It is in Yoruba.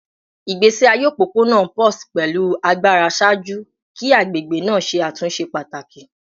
Igbesi aye opopona pulsed pẹlu agbara ṣaaju ki agbegbe naa ṣe atunṣe pataki